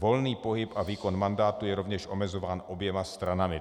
Volný pohyb a výkon mandátu je rovněž omezován oběma stranami.